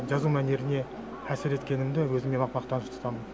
жазу мәнеріне әсер еткенімді өзіме мақтаныш тұтамын